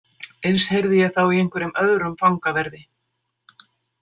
Eins heyrði ég þá í einhverjum öðrum fangaverði.